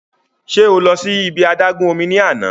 Ṣe o lọ si ibi adagun omi ni ana?